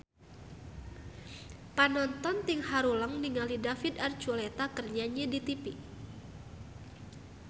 Panonton ting haruleng ningali David Archuletta keur nyanyi di tipi